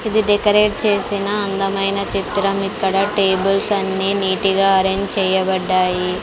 ఇది డెకరేట్ చేసిన అందమైన చిత్రం ఇక్కడ టేబుల్స్ అన్ని నీటిగా ఆరేంజ్ చేయబడ్డాయి.